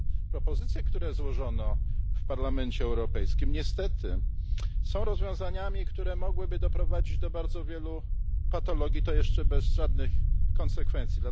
Propozycje, które złożono w Parlamencie Europejskim niestety są rozwiązaniami, które mogłyby doprowadzić do bardzo wielu patologii, i to jeszcze bez żadnych konsekwencji.